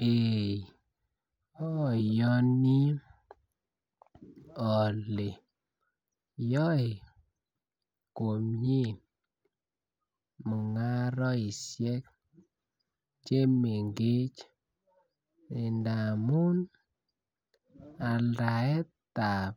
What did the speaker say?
Mmh oyonii ole yoe komie mungaroshek chemengech ndamun aldaetab